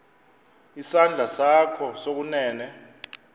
isandla sakho sokunene